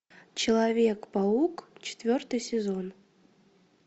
человек паук четвертый сезон